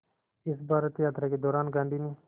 इस भारत यात्रा के दौरान गांधी ने